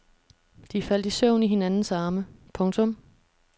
De faldt i søvn i hinandens arme. punktum